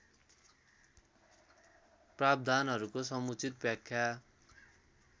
प्रावधानहरूको समुचित व्याख्या